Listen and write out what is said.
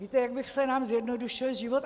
Víte, jak by se nám zjednodušil život?